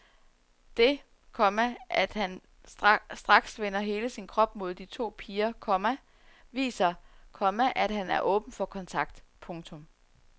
Det, komma at han straks vender hele sin krop mod de to piger, komma viser, komma at han er åben for kontakt. punktum